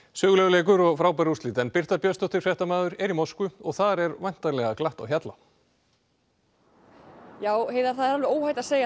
sögulegur leikur og frábær úrslit en Birta Björnsdóttir fréttamaður er í Moskvu og þar er væntanlega glatt á hjalla já það er óhætt að segja